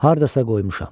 Hardasa qoymuşam.